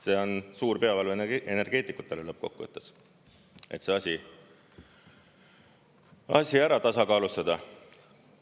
See on suur peavalu energeetikutele lõppkokkuvõttes see asi ära tasakaalustada.